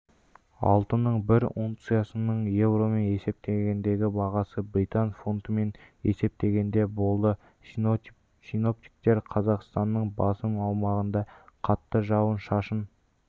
алтынның бір унциясының еуромен есептегендегі бағасы британ фунтымен есептегенде болды синоптиктер қазақстанның басым аумағында қатты жауын-шашын